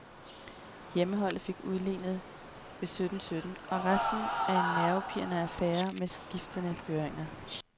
Hjemmeholdet fik udlignet ved sytten sytten, og resten blev en nervepirrende affære med skiftende føringer.